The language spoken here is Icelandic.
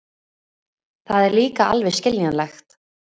Það er líka alveg skiljanlegt.